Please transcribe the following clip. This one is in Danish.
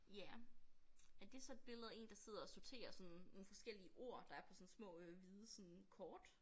Ja er det så et billede af én der sidder og sorterer sådan nogle forskellige ord der er på sådan små øh hvide sådan kort